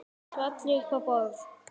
Svona allir upp á borð